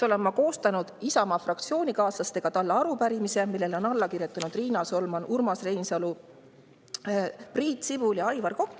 Et seda, oleme Isamaa fraktsioonikaaslastega koostanud talle arupärimise, millele on alla kirjutanud Riina Solman, Urmas Reinsalu, Priit Sibul ja Aivar Kokk.